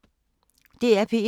DR P1